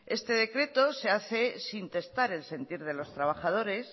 este decreto se hace sin testar el sentir de los trabajadores